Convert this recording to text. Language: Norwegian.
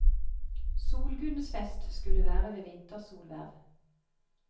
Solgudens fest skulle være ved vintersolverv.